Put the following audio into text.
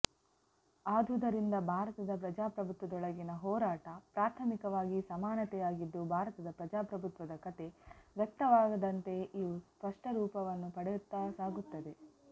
ಆದುದರಿಂದ ಭಾರತದ ಪ್ರಜಾಪ್ರಭುತ್ವದೊಳಗಿನ ಹೋರಾಟ ಪ್ರಾಥಮಿಕವಾಗಿ ಸಮಾನತೆಯಾಗಿದ್ದು ಭಾರತದ ಪ್ರಜಾಪ್ರಭುತ್ವದ ಕತೆ ವ್ಯಕ್ತವಾದಂತೆ ಇವು ಸ್ವಷ್ಟರೂಪವನ್ನು ಪಡೆಯುತ್ತಾ ಸಾಗುತ್ತದೆ